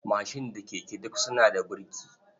Mashin da keke duk suna da burki.